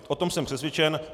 O tom jsem přesvědčen.